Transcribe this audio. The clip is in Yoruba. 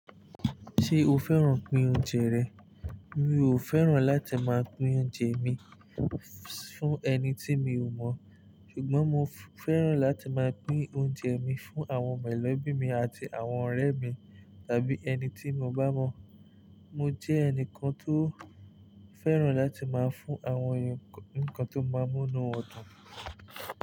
Ṣé o fẹ́ràn pín oúnjẹ rẹ̀? Mi ò fẹ́ràn láti máa pín oúnjẹ mi fún ẹni tí mi ò mọ̀, ṣùgbọ́n mo fẹ́ràn láti máa pín oúnjẹ mi fún àwọn mẹ̀lọ́bí mi àti àwọn ọ̀rẹ́ mi tàbí ẹni tí mo bá mọ̀. Mo jẹ́ ẹnìkan tó fẹ́ràn láti máa fún àwọn ǹkan tó máa mú inú wọn dùn.